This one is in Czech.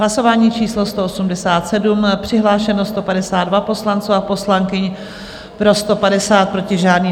Hlasování číslo 187, přihlášeno 152 poslanců a poslankyň, pro 150, proti žádný.